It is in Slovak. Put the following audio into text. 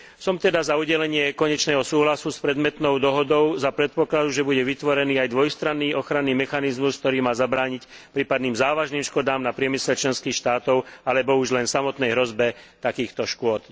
Som teda za udelenie konečného súhlasu s predmetnou dohodou za predpokladu, že bude vytvorený aj dvojstranný ochranný mechanizmus, ktorý má zabrániť prípadným závažným škodám na priemysle členských štátov alebo už len samotnej hrozbe takýchto škôd.